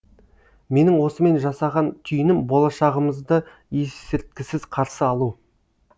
менің осымен жасаған түйінім болашағымызды есірткісіз қарсы алу